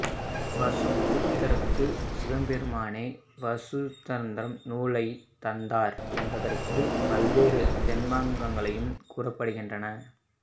வசுகுப்தருக்கு சிவபெருமானே சிவசூத்தரம் நூலை தந்தார் என்பதற்கு பல்வேறு தொன்மங்கள் கூறப்படுகின்றன